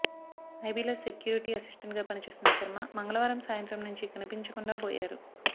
ఐబీలో security అసిస్టెంట్గా పనిచేస్తున్న శర్మ మంగళవారం సాయంత్రం నుంచి కనిపించకుండా పోయారు